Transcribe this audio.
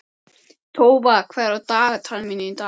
Tófa, hvað er á dagatalinu mínu í dag?